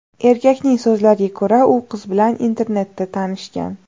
Erkakning so‘zlariga ko‘ra, u qiz bilan internetda tanishgan.